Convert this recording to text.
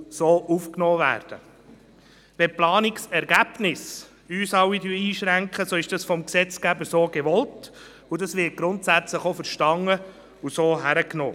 Wenn uns Planungsergebnisse einschränken, ist das vom Gesetzgeber so gewollt, und es wird grundsätzlich auch verstanden und akzeptiert.